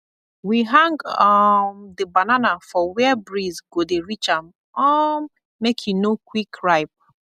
we hang um the banana for where breeze go dey reach am um make e no quick ripe